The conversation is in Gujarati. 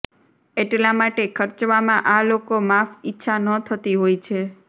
એટલા માટે ખર્ચવામાં આ લોકો માફ ઇચ્છા ન થતી હોય છે